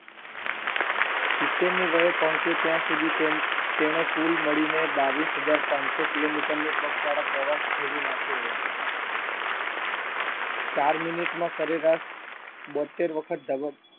સિત્તેરની વયે પહોંચે ત્યાં સુધી તેમ તેને કુલ મળીને બાવીસ હજાર પાંચસો કિલોમીટરને પગપાળા પ્રવાસ ખેડી નાખ્યો હોય છે. ચાર minute માં સરેરાશ બોત્તેર વખત ધબકતુ